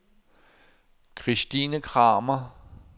Kristine Kramer